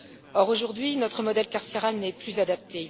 Or, aujourd'hui, notre modèle carcéral n'est plus adapté.